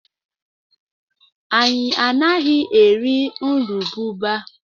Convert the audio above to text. Anyị anaghị eri nrububa.